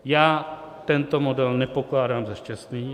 Já tento model nepokládám za šťastný.